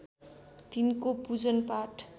तिनको पूजनपाठ